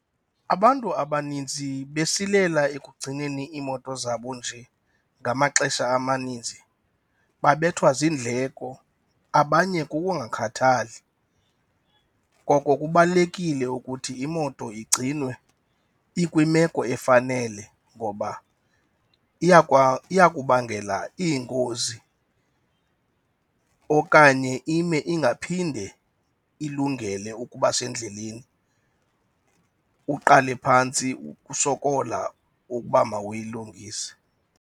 Abantu abaninzi besilela ekugcineni iimoto zabo nje ngamaxesha amaninzi babethwa ziindleko, abanye kukungakhathali. Ngoko kubalulekile ukuthi imoto igcinwe ikwimeko efanele ngoba iyakubangela iingozi okanye ime ingaphinde ilungele ukuba sendleleni, uqale phantsi ukusokola uba mawuyilungise.